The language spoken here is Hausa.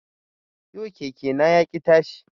Yau keke na yaƙi tashi